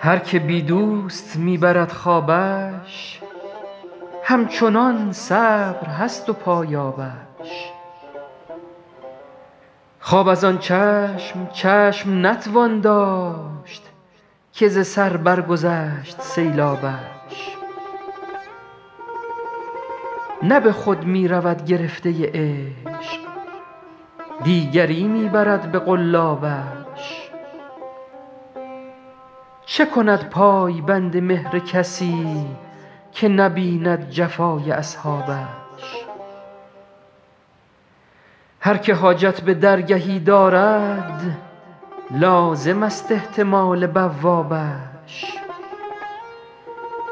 هر که بی دوست می برد خوابش همچنان صبر هست و پایابش خواب از آن چشم چشم نتوان داشت که ز سر برگذشت سیلابش نه به خود می رود گرفته عشق دیگری می برد به قلابش چه کند پای بند مهر کسی که نبیند جفای اصحابش هر که حاجت به درگهی دارد لازمست احتمال بوابش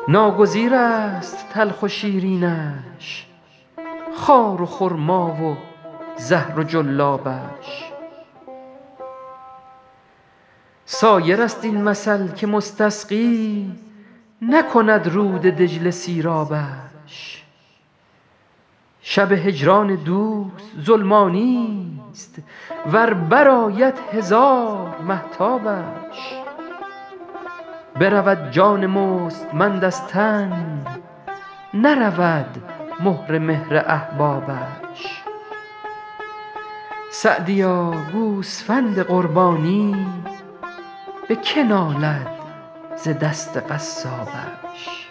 ناگزیرست تلخ و شیرینش خار و خرما و زهر و جلابش سایرست این مثل که مستسقی نکند رود دجله سیرابش شب هجران دوست ظلمانیست ور برآید هزار مهتابش برود جان مستمند از تن نرود مهر مهر احبابش سعدیا گوسفند قربانی به که نالد ز دست قصابش